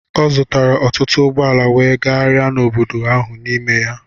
Ọ zụtara ọtụtụ ụgbọ ala wee gagharịa n'obodo ahụ n'ime ha.